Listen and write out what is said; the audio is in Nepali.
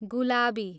गुलाबी